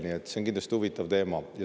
See on kindlasti huvitav teema.